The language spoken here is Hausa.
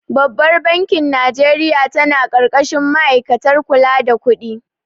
Babbar bankin Najeriya ta na ƙarƙashin ma'aikatar kula da kudi